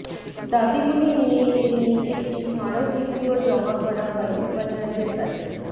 দাবিগুলি নিয়ে এদিন একটি স্মারকলিপিও জমা করা হয় উপাচার্যের কাছে